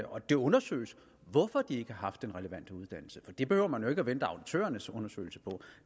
og at det undersøges hvorfor de har haft den relevante uddannelse for det behøver man jo ikke at vente på auditørernes undersøgelse for